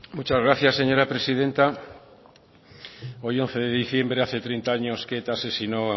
muchas gracias señora presidenta hoy once de diciembre hace treinta años que eta asesinó